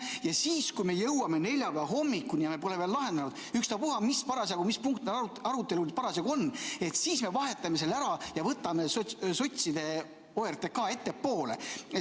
Ja siis, kui me jõuame neljapäeva hommikuni ja me pole veel lahendanud, ükstapuha mis punkt meil arutelul parasjagu on, me vahetame selle ära ja võtame sotside OTRK ettepoole.